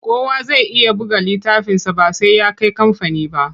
Kowa zai iya buga littafinsa ba sai ya kai kamfani ba.